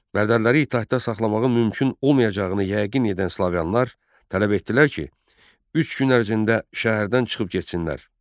Bərdəliləri itaətdə saxlamağın mümkün olmayacağını yəqin edən Slaviyalılar tələb etdilər ki, üç gün ərzində şəhərdən çıxıb getsinlər.